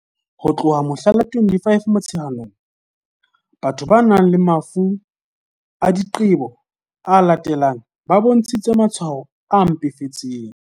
Ho tloha mohla la 25 Mo-tsheanong, batho ba nang le mafu a diqebo a latelang ba bontshitse matshwao a mpefetseng.